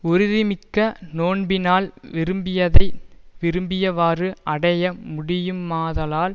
உறுதிமிக்க நோன்பினால் விரும்பியதை விரும்பியவாறு அடைய முடியுமாதலால்